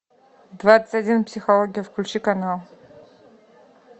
двадцать один психология включи канал